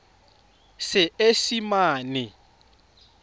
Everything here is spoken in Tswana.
seesimane